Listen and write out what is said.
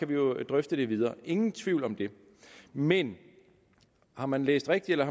vi jo drøfte det videre ingen tvivl om det men har man læst rigtigt eller